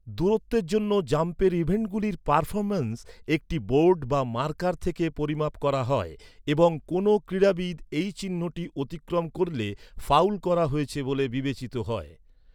দূরত্বের জন্য জাম্পের ইভেন্টগুলির পারফরম্যান্স একটি বোর্ড বা মার্কার থেকে পরিমাপ করা হয় এবং কোনো ক্রীড়াবিদ এই চিহ্নটি অতিক্রম করলে ফাউল করা হয়েছে বলে বিবেচিত হয়।